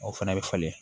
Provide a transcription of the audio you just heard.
O fana bɛ falen